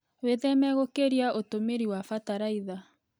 Wĩtheme gũkĩria ũtũmĩri wa bataraitha.